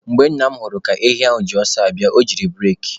Mgbe Nna m hụrụ ka ehi ahụ ji ọsọ abịa, o jiri bureki.